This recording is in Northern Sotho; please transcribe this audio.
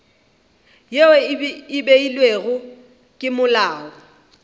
yeo e beilwego ke molao